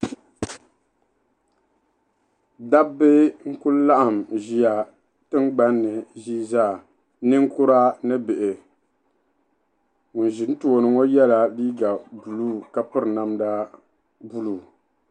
Dabi n ku laɣim nʒiya tiŋ gbani ʒiizaa ninkura ni bihi ŋun ʒi n too ni ŋɔ yela liiga blue ka piri namda blue